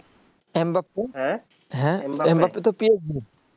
M Bappu Mbappe তো PSG র